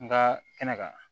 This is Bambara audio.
Nga kɛnɛ kan